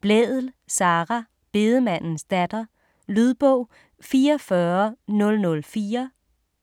Blædel, Sara: Bedemandens datter Lydbog 44004